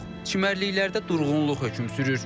Çimərliklərdə durğunluq hökm sürür.